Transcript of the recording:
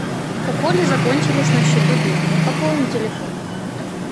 у коли закончились на счету деньги пополни телефон